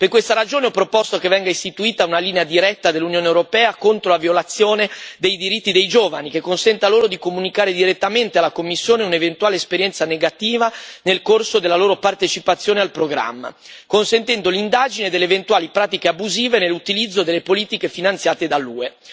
Per questa ragione ho proposto che venga istituita una linea diretta dell'Unione europea contro la violazione dei diritti dei giovani, che consenta loro di comunicare direttamente alla Commissione un'eventuale esperienza negativa nel corso della loro partecipazione al programma, consentendo l'indagine delle eventuali pratiche abusive nell'utilizzo delle politiche finanziate dall'UE.